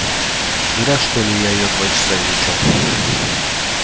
зря что ли я её два часа изучал